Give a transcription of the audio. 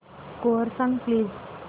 score सांग please